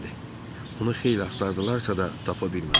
Onu xeyli axtardılarsa da, tapa bilmədilər.